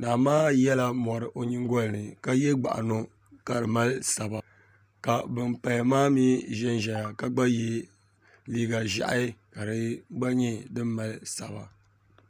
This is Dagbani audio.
naa maa yɛla mɔri o nyingɔli ni ka ye gbaɤino ka di Mali saba ka ban paya maa mi ʒɛn ʒɛnya ka GBA ye liiga ʒɛhi ka di gba nyɛ din Mali saba